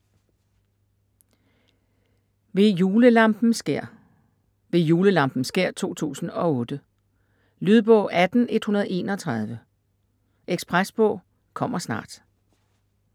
Ved julelampens skær: Ved julelampens skær 2008 Lydbog 18131 Ekspresbog - kommer snart